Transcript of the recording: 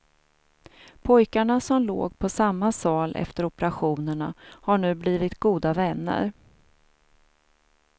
Pojkarna som låg på samma sal efter operationerna har nu blivit goda vänner.